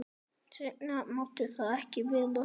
Seinna mátti það ekki vera.